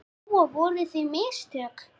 Lóa: Voru það mistök?